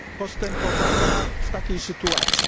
postępowania w takiej sytuacji?